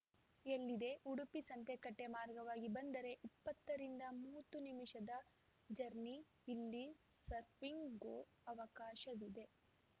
ಎಲ್ಲಿದೆ ಉಡುಪಿ ಸಂತೆಕಟ್ಟೆಮಾರ್ಗವಾಗಿ ಬಂದರೆ ಇಪ್ಪತ್ತು ರಿಂದ ಮೂವತ್ತು ನಿಮಿಷದ ಜರ್ನಿ ಇಲ್ಲಿ ಸರ್ಫಿಂಗ್‌ಗೂ ಅವಕಾಶವಿದೆ